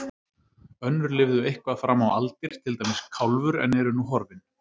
Önnur lifðu eitthvað fram á aldir, til dæmis Kálfur, en eru nú horfin.